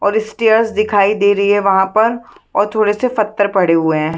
और स्टेयर्स दिखाई दे रही है वहाँ पर और थोड़े से पत्थर पड़े हुए है।